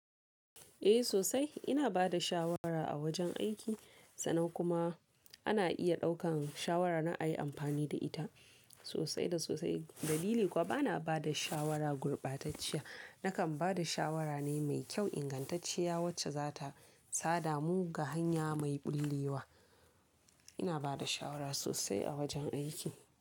Eh sosai ina bada shawara a wajen aiki sannan kuma ana iya ɗaukan shawara na a yi amfani da ita sosai da sosai. Dalili kuwa bana bada shawara gurbatacciya nakan bada shawara ne mai kyau ingantacciya wacce za ta sada mu ga hanya mai ɓulle wa. Ina bada shawara sosai a wajen aiki.